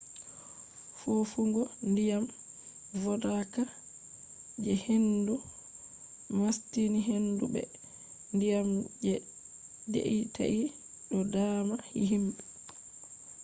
fofugo ndiyam vodaka je hendu mastini hendu be ndiyam je deitai do daama himbe